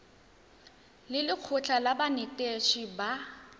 le lekgotlha la banetetshi ba